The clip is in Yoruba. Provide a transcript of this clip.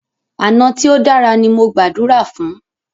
Àná tí o dára ní mo gbàdúrà fún.